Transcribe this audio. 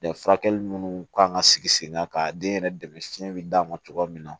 furakɛli munnu kan ka sigi sen kan ka den yɛrɛ dɛmɛ si d'a ma cogoya min na